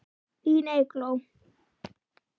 Þín Eygló.